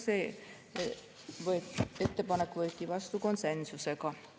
See ettepanek võeti vastu konsensusega.